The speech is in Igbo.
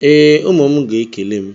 Ee, ụmụ m ga-ekele m.